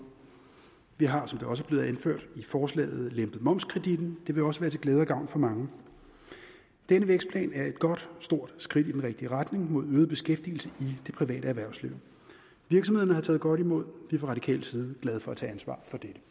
vi har som det også er blevet anført i forslaget lempet momskreditten det vil også være til glæde og gavn for mange denne vækstplan er et godt stort skridt i den rigtige retning mod øget beskæftigelse i det private erhvervsliv virksomhederne har taget godt imod det fra radikal side glade for at tage ansvar